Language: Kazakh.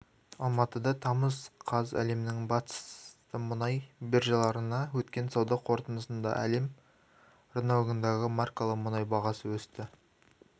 алматы тамыз қаз әлемнің басты мұнай биржаларында өткен сауда қортындысында әлем рыногындағы маркалы мұнай бағасы өсті